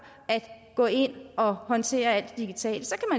at gå ind og håndtere alt digitalt så